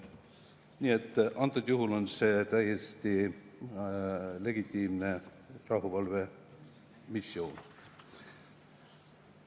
Nii et see on täiesti legitiimne rahuvalvemissioon.